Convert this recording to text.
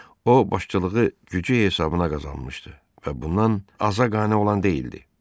O başçılığı gücü hesabına qazanmışdı və bundan aza qane olan deyildi.